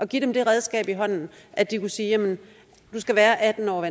giver dem det redskab i hånden at de kunne sige at du skal være atten år